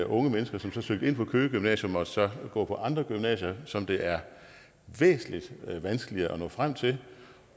unge mennesker som søgte ind på køge gymnasium måtte så gå på andre gymnasier som det er væsentlig vanskeligere at nå frem til